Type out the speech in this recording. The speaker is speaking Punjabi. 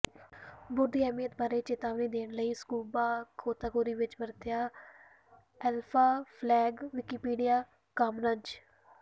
ਬੋਟ ਦੀ ਅਹਿਮੀਅਤ ਬਾਰੇ ਚੇਤਾਵਨੀ ਦੇਣ ਲਈ ਸਕੁਬਾ ਗੋਤਾਖੋਰੀ ਵਿੱਚ ਵਰਤਿਆ ਐਲਫ਼ਾ ਫਲੈਗ ਵਿਕਿਪੀਡਿਆ ਕਾਮਨਜ਼